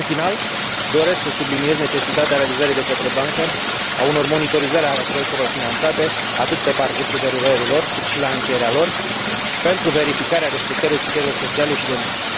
În final doresc să subliniez necesitatea realizării de către bancă a unor monitorizări ale proiectelor finanțate, atât pe parcursul derulării lor, cât și la încheierea lor, pentru verificarea respectării criteriilor sociale și de mediu.